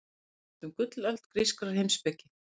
Nú er spurt um gullöld grískrar heimspeki.